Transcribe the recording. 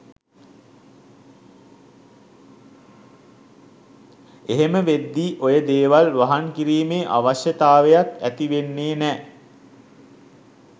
එහෙම වෙද්දී ඔය දේවල් වහං කිරීමේ අවශ්‍යතාවයක් ඇති වෙන්නේ නෑ.